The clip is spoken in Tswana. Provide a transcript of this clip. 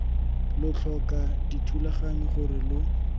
lo tlhoka dithulaganyo gore lo